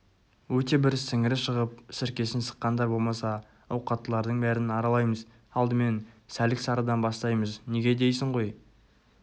өте бір сіңірі шығып сіркесін сыққандар болмаса ауқаттылардың бәрін аралаймыз алдымен сәлік-сарыдан бастаймыз неге дейсің ғой